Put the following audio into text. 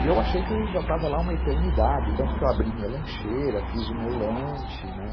E eu achei que eu já estava lá uma eternidade, tanto que eu abri minha lancheira, fiz o meu lanche, né.